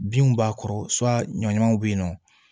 Binw b'a kɔrɔ ɲɔɲamanw bɛ yen nɔ